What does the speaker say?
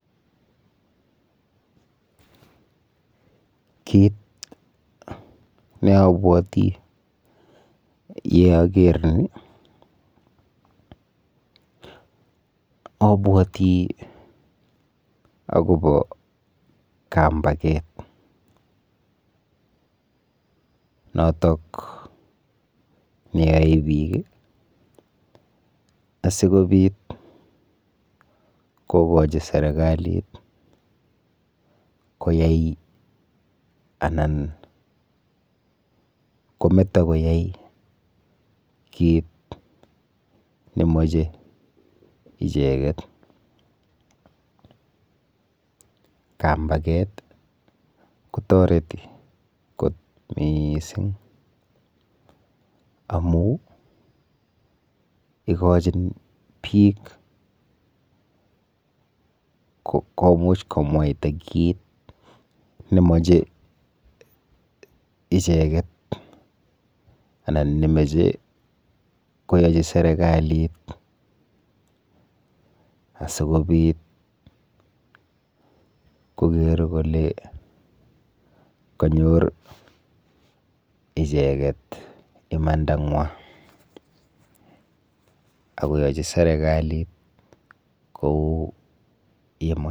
Kit neabwoti yeaker ni abwoti akopo kampaket notok neyoe biik asikobit kokochi serikalit koyai anan anan kometo kit nemoche icheket. Kampaket kotoreti kot miising amu ikochin biik komuch komwaita kit nemoche icheket anan nemoche koyochi serikalit asikobit koker kole kanyor icheket imandangwa akoyochi serikalit kou...